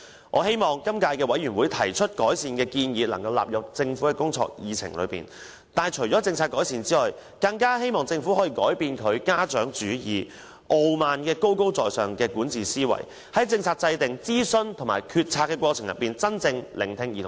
我希望今屆小組委員會提出的改善建議能夠納入政府的工作議程，但除了政策改善外，我更希望政府可以改變它的"家長主義"和高高在上的傲慢管治思維，在政策制訂、諮詢和決策的過程中，真正聆聽兒童和青年的意見。